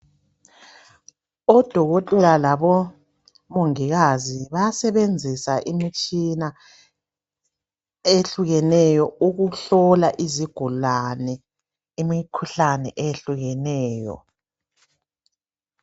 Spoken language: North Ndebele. Odokotela labomongikazi bayasebenzisa imitshina eyehlukeneyo ukuhlola izigulane imikhuhlane eyehlukeneyo.